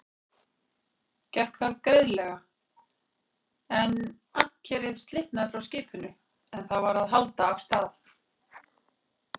Gekk það greiðlega, en ankerið slitnaði frá skipinu, er það var að halda af stað.